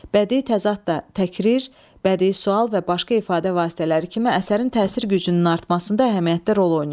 Bədii təzad da təkrir, bədii sual və başqa ifadə vasitələri kimi əsərin təsir gücünün artmasında əhəmiyyətli rol oynayır.